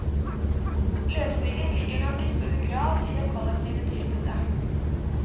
Løsningen ligger nok i stor grad i det kollektive tilbudet.